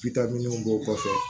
b'o kɔfɛ